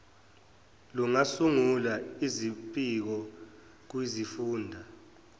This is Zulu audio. lungasungula izimpiko kwizifunda